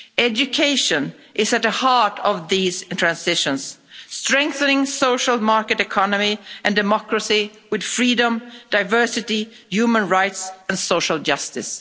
Education is at the heart of these transitions, strengthening the social market economy and democracy with freedom, diversity, human rights and social justice.